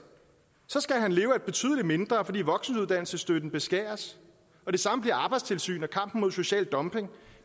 skal han leve af betydelig mindre fordi voksenuddannelsesstøtten beskæres og det samme gælder arbejdstilsyn og kampen mod social dumping